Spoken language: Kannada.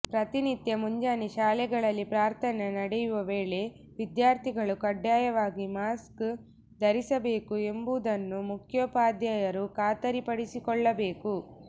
ಪ್ರತಿನಿತ್ಯ ಮುಂಜಾನೆ ಶಾಲೆಗಳಲ್ಲಿ ಪ್ರಾರ್ಥನೆ ನಡೆಯುವ ವೇಳೆ ವಿದ್ಯಾರ್ಥಿಗಳು ಕಡ್ಡಯವಾಗಿ ಮಾಸ್ಕ್ ಧರಿಸಬೇಕು ಎಂಬುದನ್ನು ಮುಖ್ಯೋಪಾಧ್ಯಾಯರು ಖಾತರಿಪಡಿಸಿಕೊಳ್ಳಬೇಕು